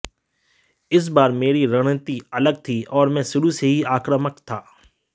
इस बार मेरी रणनीति अलग थी और मैं शुरू से ही आक्रामक था